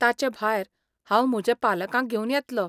ताचें भायर, हांव म्हज्या पालकांक घेवन येतलो.